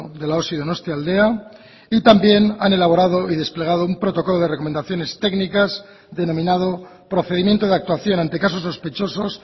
de la osi donostialdea y también han elaborado y desplegado un protocolo de recomendaciones técnicas denominado procedimiento de actuación ante casos sospechosos